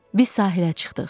Biz sahilə çıxdıq.